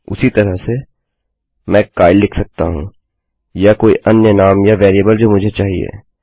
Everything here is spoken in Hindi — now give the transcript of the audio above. उसी तरह से मैं काइल लिख सकता हूँ या कोई अन्य नाम या वेरिएबल जो मुझे चाहिए